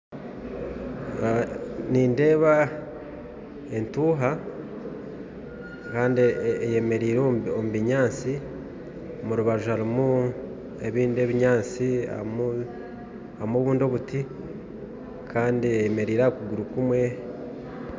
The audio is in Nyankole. Nindeeba entuuha eyemereire omu binyatsi, omurubaju harimu ebindi ebinyatsi n'ebindi ebiti kandi eyemereire aha kuguru kumwe